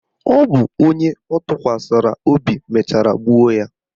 Ọ bụ onye ọ tụkwasara obi mechara gbuo ya.